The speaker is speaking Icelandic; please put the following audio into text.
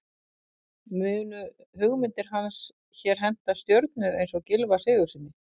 Munu hugmyndir hans hér henta stjörnu eins og Gylfa Sigurðssyni?